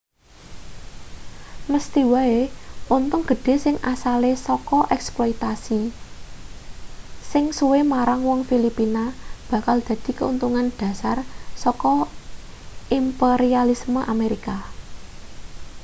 mesthi wae untung gedhe sing asale saka eksploitase sing suwe marang wong filipina bakal dadi keuntungan dhasar saka imperialisme amerika